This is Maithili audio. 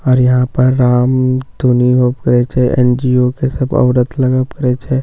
आओर यहां पर राम धुनी हो करए छे एनजीओ के सब औरत लग पड़ै छे सब आई--